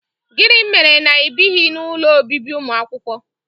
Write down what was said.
Gịnị mere na ịbighị n'ụlọ obibi ụmụakwụkwọ?